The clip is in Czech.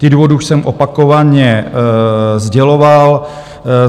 Ty důvody už jsem opakovaně sděloval.